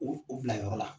O bila yɔrɔ la